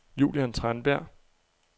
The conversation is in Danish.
Julian Tranberg